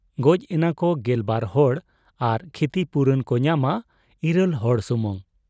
ᱜᱚᱡ ᱮᱱᱟᱠᱚ ᱜᱮᱞᱵᱟᱨ ᱦᱚᱲ ᱟᱨ ᱠᱷᱤᱛᱤ ᱯᱩᱨᱚᱱ ᱠᱚ ᱧᱟᱢᱟ ᱤᱨᱟᱹᱞ ᱦᱚᱲ ᱥᱩᱢᱩᱝ ᱾